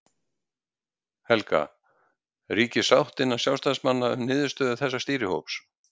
Helga: Ríkir sátt innan sjálfstæðismanna um niðurstöðu þessa stýrihóps?